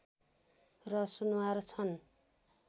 र सुनुवार छन्